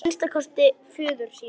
Að minnsta kosti föður sínum.